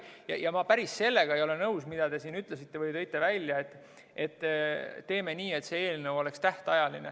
Sellega ma päris nõus ei ole, mida te siin ütlesite või välja tõite, et teeme nii, et see eelnõu oleks tähtajaline.